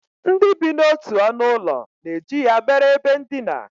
Ndị bi n'otu ọnụụlọ na-eji ya mere ebe ndina